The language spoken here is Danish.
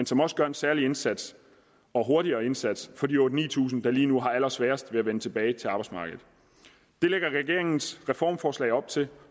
som også gør en særlig indsats og hurtigere indsats for de otte tusind ni tusind der lige nu har allersværest ved at vende tilbage til arbejdsmarkedet det lægger regeringens reformforslag op til